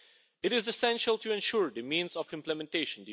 It is essential to ensure the means of implementation.